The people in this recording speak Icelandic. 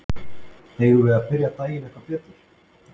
Eigum við að byrja daginn eitthvað betur?